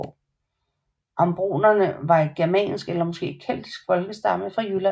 Ambronerne var et germansk eller måske keltisk folkestamme fra Jylland